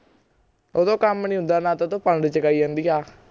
ਓਹਤੋਂ ਕੰਮ ਨਹੀਂ ਹੁੰਦਾ ਨਾ ਤਾ ਓਹਤੋਂ ਪੰਡ ਚਕਾਈ ਜਾਂਦੀ ਆ